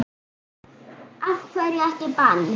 Af hverju ekki bann?